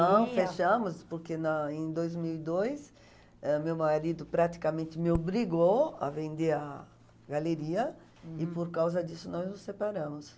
Não, fechamos, porque na em dois mil e dois meu marido praticamente me obrigou a vender a galeria, hm, e por causa disso nós nos separamos.